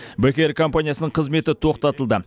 бек эйр компаниясының қызметі тоқтатылды